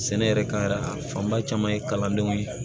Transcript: Sɛnɛ yɛrɛ ka yɛrɛ a fanba caman ye kalandenw ye